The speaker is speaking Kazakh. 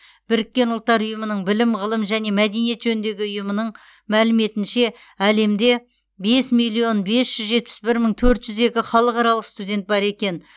біріккен ұлттар ұйымының білім ғылым және мәдениет жөніндегі ұйымының мәліметінше әлемде бес миллион бес жүз жетпіс бір мың төрт жүз екі халықаралық студент бар екен